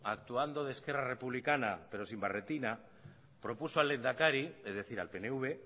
actuando de esquerra republicana pero sin barretina propuso al lehendakari es decir al pnv